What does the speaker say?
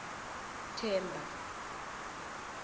themba